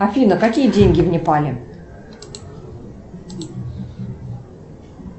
афина какие деньги в непале